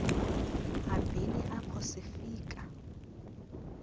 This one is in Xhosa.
hambeni apho sifika